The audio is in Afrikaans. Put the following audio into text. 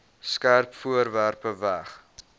skerp voorwerpe weg